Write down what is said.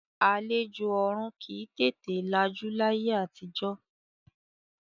Àlejò ọ̀ọ̀run kì í tètè lajú láyé àtijọ́